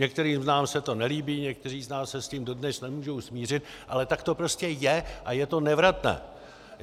Některým z nás se to nelíbí, někteří z nás se s tím dodnes nemůžou smířit, ale tak to prostě je a je to nevratné.